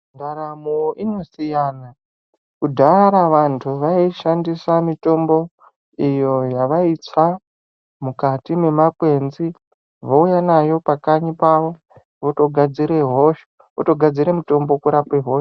Ndaramo inosiyana. Kudhara vantu vaishandisa mitombo iyo yavaitsva mukati mwemwakwenzi vouya nayo pamakanyi pavo votogadzire mutombo kurape hosha.